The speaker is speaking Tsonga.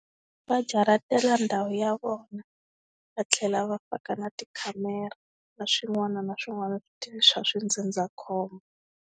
Va jaratela ndhawu ya vona, va tlhela va faka na tikhamera na swin'wana na swin'wana swa swi ndzindzakhombo.